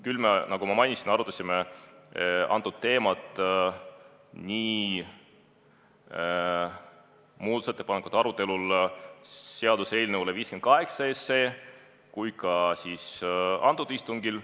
Küll me, nagu ma mainisin, arutasime seda teemat nii seaduseelnõu 58 muudatusettepanekute arutelul kui ka sellel istungil.